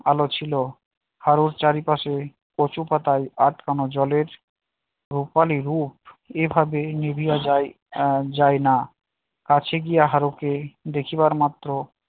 আলো ছিল আলো চারিপাশে কচু পাতায় আটকানো জলের রূপালী রূপ এভাবে নিভিয়া যায় আহ যায় না কাছে গিয়ে হারুকে দেখিবার মাত্র